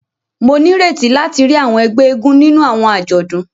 Mo n'ireti láti ríi àwọn ègbé eégún nínú àwọn ajọdun.